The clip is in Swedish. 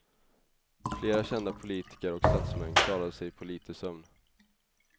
Flera kända politiker och statsmän klarade sig på lite sömn.